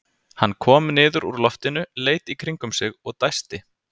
Hann kom niður úr loftinu, leit í kringum sig og dæsti.